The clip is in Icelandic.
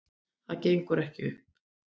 Þetta gengur ekki upp